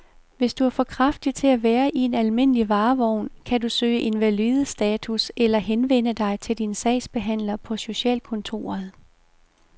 Hvis du er for kraftig til at være i en almindelig varevogn, kan du kan søge invalidestatus eller henvende dig til din sagsbehandler på socialkontoret.